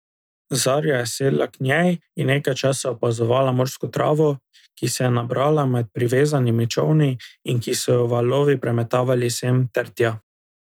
Zarja je sedla k njej in nekaj časa opazovala morsko travo, ki se je nabrala med privezanimi čolni in ki so jo valovi premetavali sem ter tja.